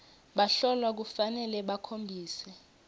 bahlolwa kufanele bakhombise